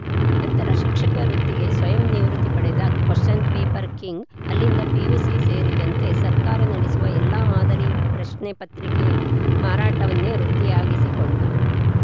ನಂತರ ಶಿಕ್ಷಕ ವೃತ್ತಿಗೆ ಸ್ವಯಂ ನಿವೃತ್ತಿ ಪಡೆದ ಕ್ವಶ್ಚನ್‌ ಪೇಪರ್‌ ಕಿಂಗ್‌ ಅಲ್ಲಿಂದ ಪಿಯುಸಿ ಸೇರಿದಂತೆ ಸರ್ಕಾರ ನಡೆಸುವ ಎಲ್ಲಾ ಮಾದರಿಯ ಪರೀಕ್ಷೆಯ ಪ್ರಶ್ನೆ ಪತ್ರಿಕೆ ಮಾರಾಟವನ್ನೆ ವೃತ್ತಿಯಾಗಿಸಿಕೊಂಡ